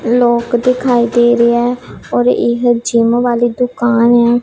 ਲੋਕ ਦਿਖਾਈ ਦੇ ਰਹੇ ਐ ਔਰ ਇਹ ਜਿਮ ਵਾਲੀ ਦੁਕਾਨ ਐ।